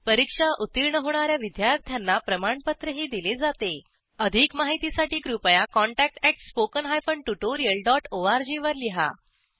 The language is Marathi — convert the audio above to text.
परीक्षा उत्तीर्ण होणा या विद्यार्थ्यांना प्रमाणपत्रही दिले जातेअधिक माहितीसाठी कृपया contactspoken tutorialorg वर लिहा